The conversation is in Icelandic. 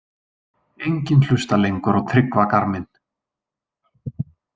Enginn hlustar lengur á Tryggva garminn.